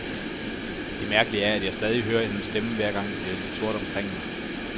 Det mærkelige er, at jeg stadig hører hendes stemme, hver gang det bliver lidt sort omkring mig.